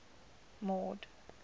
mord